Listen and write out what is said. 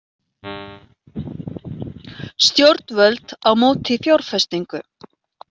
Stjórnvöld á móti fjárfestingu